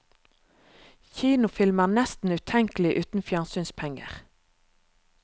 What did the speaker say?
Kinofilm er nesten utenkelig uten fjernsynspenger.